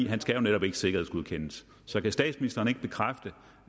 han skal jo netop ikke sikkerhedsgodkendes så kan statsministeren ikke bekræfte